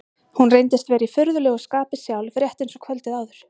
Hún reyndist vera í furðulegu skapi sjálf, rétt eins og kvöldið áður.